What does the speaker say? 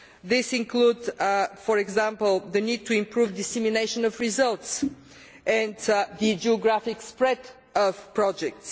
This includes, for example, the need to improve dissemination of results and the geographic spread of projects.